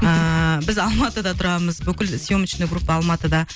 ыыы біз алматыда тұрамыз бүкіл сьемочная группа алматыда